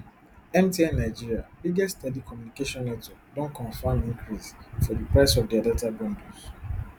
mtn nigeria biggest telecommunication network don confam increase for di price of dia data bundles